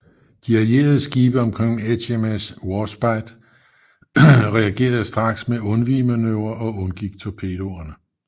De allierede skibe omkring HMS Warspite reagerede straks med undvigemanøvrer og undgik torpedoerne